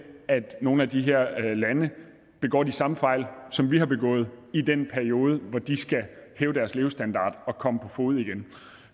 at nogle af de her lande begår de samme fejl som vi har begået i den periode hvor de skal hæve deres levestandard og komme på fode igen